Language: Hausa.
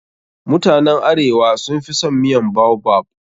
Mutanen arewa sun fi son miyan baobab.